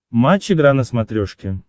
матч игра на смотрешке